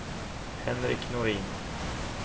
Henrik Nordin